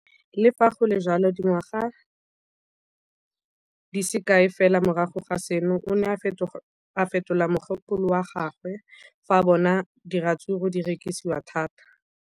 Le fa go le jalo, dingwaga di se kae fela morago ga seno, o ne a fetola mogopolo wa gagwe fa a bona gore diratsuru di rekisiwa thata.